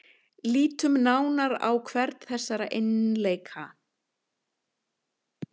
Lítum nánar á hvern þessara eiginleika.